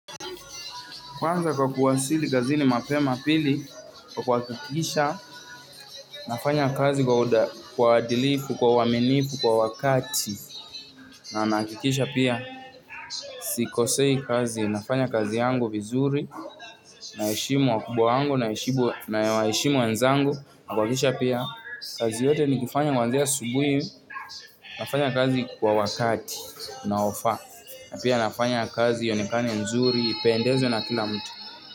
Kwanza kwa kuwasili kazini mapema pili, kwa kuhakikisha, nafanya kazi kwa uadilifu, kwa uaminifu, kwa wakati, na nahakikisha pia. Sikosei kazi, nafanya kazi yangu vizuri, naheshemu wakubwa yangu, nawashemu wenzangu, na kuhakikisha pia. Kazi yote nikifanya kuanzia asubuhi, nafanya kazi kwa wakati, unaofaa, na pia nafanya kazi ionekane nzuri, ipendezwe na kila mtu.